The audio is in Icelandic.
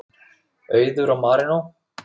Auður og Marinó.